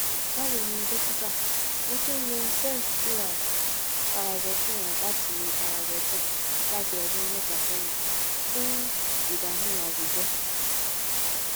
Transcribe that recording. bawoni dókítà mo ti n lo xet cr paroxetine láti paroxetine láti ọdún mẹta sẹyìn fún ìdààmú àwùjọ